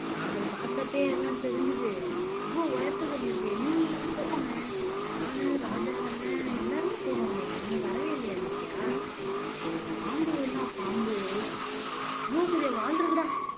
நான் அத பார்த்த அப்பயே எல்லாம் தெரிஞ்சுது அவ்வளவு உயரத்துக்கு இருந்துச்சு நீ எங்க போன நானு ராஜா அண்ணன் எல்லாருமே போனோமே நீ வரவே இல்லையா இலக்கியா அது பாம்புன்னா பாம்பு எவ்வளவு பெரிய வால் இருக்குடா